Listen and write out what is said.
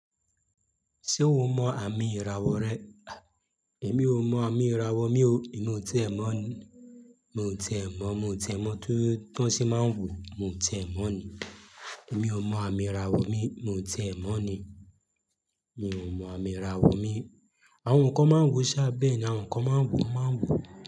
Ṣé o mọ àmì ìràwọ̀ rẹ? Ah! Èmi ò mọ àmì ìràwọ̀ mi o, èmi ò tíì ẹ mọ̀ ni. Mi ò tíì ẹ mọ̀, mi ò tíì ẹ mọ̀ tó tí wọ́n ṣe máa ń wò, mi ò tíì ẹ mọ̀ ni. Èmi ò mọ àmì ìràwọ̀ mi, mi ò tíẹ mọ̀ ni. Mi ò mọ àmì ìràwọ̀ mi. Àwọn nǹkan máa ń wo ṣá, bẹ́ẹ̀ ni àwọn nǹkan máa ń wo, wọ́n máa ń wo.